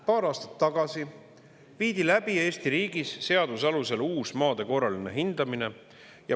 Paar aastat tagasi viidi läbi Eesti riigis seaduse alusel uus maade korraline hindamine.